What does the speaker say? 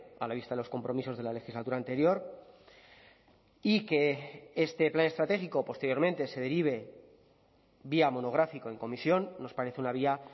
a la vista de los compromisos de la legislatura anterior y que este plan estratégico posteriormente se derive vía monográfico en comisión nos parece una vía